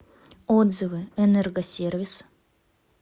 отзывы энергосервис